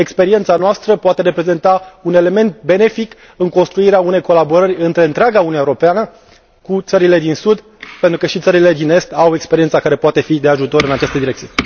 Experiența noastră poate reprezenta un element benefic în construirea unei colaborări între întreaga Uniune Europeană cu țările din sud, pentru că și țările din est au experiența care poate fi de ajutor în această direcție.